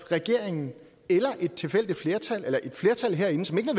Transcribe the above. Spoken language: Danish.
regeringen eller et tilfældigt flertal eller et flertal herinde som ikke